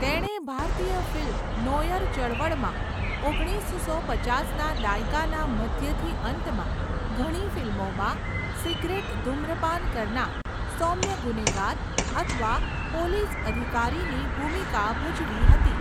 તેણે ભારતીય film noir ચળવળમાં, ઓગણીસસો પચાસના દાયકાના મધ્યથી અંતમાં ઘણી ફિલ્મોમાં સિગરેટ ધુમ્રપાન કરનાર સૌમ્ય ગુનેગાર અથવા પોલીસ અધિકારીની ભૂમિકા ભજવી હતી.